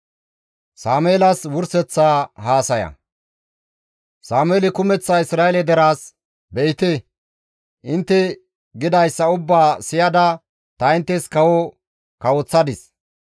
Sameeli kumeththa Isra7eele deraas, «Be7ite intte gidayssa ubbaa siyada ta inttes kawo kawoththadis.